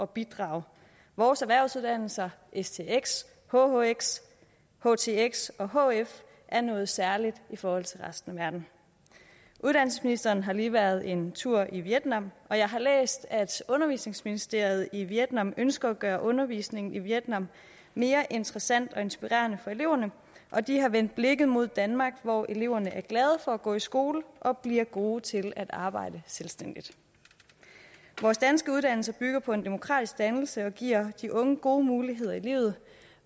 bidrage vores erhvervsuddannelser stx hhx htx og hf er noget særligt i forhold til resten af verden uddannelsesministeren har lige været en tur i vietnam og jeg har læst at undervisningsministeriet i vietnam ønsker at gøre undervisning i vietnam mere interessant og inspirerende for eleverne og de har vendt blikket mod danmark hvor eleverne er glade for at gå i skole og bliver gode til at arbejde selvstændigt vores danske uddannelser bygger på en demokratisk dannelse og giver de unge gode muligheder i livet